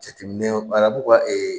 Jateminɛ arabuw ka